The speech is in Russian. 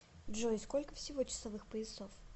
джой сколько всего часовых поясов